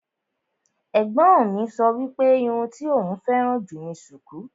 Ẹ̀gbọ́n mi sọ wípé irun tí òún féràn jù ni sùkú.